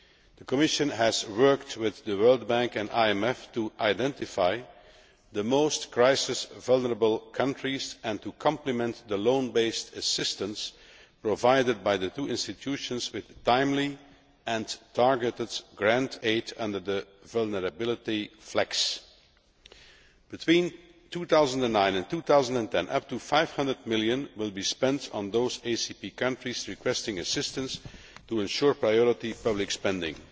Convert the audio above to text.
The Commission has worked with the World Bank and the IMF to identify the most crisis vulnerable countries and to complement the loan based assistance provided by these two institutions with timely and targeted grant aid under the Vulnerability FLEX. Between 2009 and 2010, up to EUR 500 million will be spent on those ACP countries requesting assistance to ensure priority public spending,